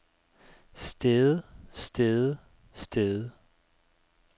stede stede stede